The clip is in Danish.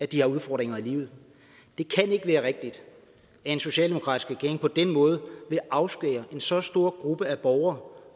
de har udfordringer i livet det kan ikke være rigtigt at en socialdemokratisk regering på den måde vil afskære en så stor gruppe af borgere